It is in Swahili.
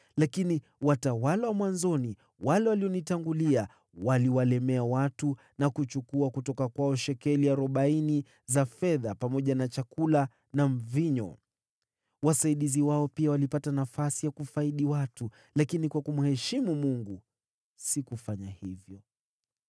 Lakini watawala wa mwanzoni, wale walionitangulia, waliwalemea watu na kuchukua kutoka kwao shekeli arobaini za fedha, pamoja na chakula na mvinyo. Wasaidizi wao pia walijifanya wakuu juu ya watu. Lakini kwa kumheshimu Mungu sikufanya hivyo.